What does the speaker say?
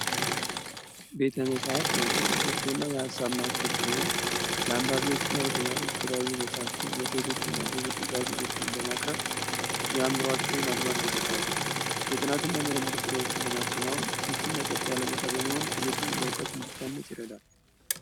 ቤተ መጻሐት የእውቀት ብሶሶ እና የአሳብ ማክል ሲሆን ላንባቢዎች እና ለተማሮች የተለያዩ መጽሐፍትን መጽሔቶች እና ጋዜቶችን በማቅረብ ያምሮቸውን አድማስ ያሰፋሉ ። የጥናት እና የምርምድር ስራዎችን ለማከናውን ምቹ እና ጸት ያለ ቦታ በመሆን ትልዱን በእውቀት እንዲታነጽ ይረዳል።